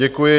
Děkuji.